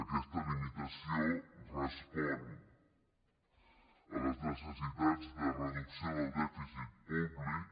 aquesta limitació respon a les necessitats de reducció del dèficit públic